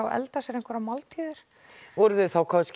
elda sér einhverjar máltíðir voru þau kannski